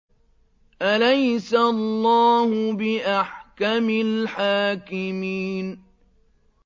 أَلَيْسَ اللَّهُ بِأَحْكَمِ الْحَاكِمِينَ